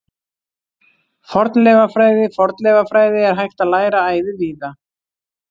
Fornleifafræði Fornleifafræði er hægt að læra æði víða.